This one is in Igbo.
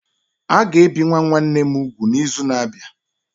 A ga-ebi nwa nwanne m úgwù n'izu na-abịa.